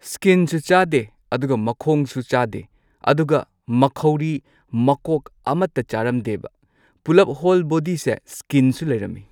ꯁ꯭ꯀꯤꯟꯁꯨ ꯆꯥꯗꯦ ꯑꯗꯨꯒ ꯃꯈꯣꯡꯁꯨ ꯆꯥꯗꯦ ꯑꯗꯨꯒ ꯃꯈꯧꯔꯤ ꯃꯀꯣꯛ ꯑꯃꯇ ꯆꯥꯔꯝꯗꯦꯕ ꯄꯨꯂꯞ ꯍꯣꯜ ꯕꯣꯗꯤꯁꯦ ꯁ꯭ꯀꯤꯟ ꯁꯨ ꯂꯩꯔꯝꯃꯤ꯫